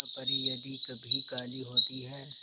क्या परी यदि कभी काली होती है